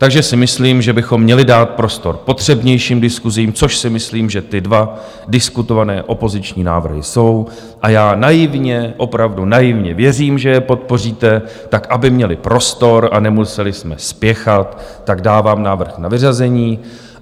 Takže si myslím, že bychom měli dát prostor potřebnějším diskusím, což si myslím, že ty dva diskutované opoziční návrhy jsou, a já naivně, opravdu naivně věřím, že je podpoříte tak, aby měly prostor a nemuseli jsme spěchat, tak dávám návrh na vyřazení.